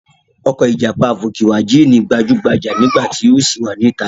Ọkọ̀ ìjàpá fókíwajìn gbajúgbajà nígbà tí ó ṣì wà níta.